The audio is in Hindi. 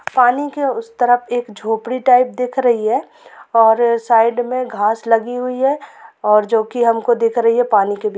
पानी के उस तरफ एक झोपड़ी टाइप दिख रही हैं और साइड में घास लगी हुई हैं और जो की हम दिख रही हैं पानी के बीच--